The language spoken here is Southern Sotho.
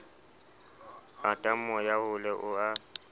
lata moya hole o a